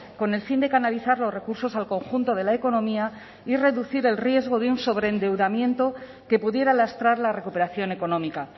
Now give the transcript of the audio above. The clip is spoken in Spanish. con el fin de canalizar los recursos al conjunto de la economía y reducir el riesgo de un sobreendeudamiento que pudiera lastrar la recuperación económica